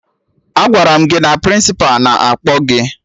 Agwara m gị na Prịnsịpa na-akpọ gị!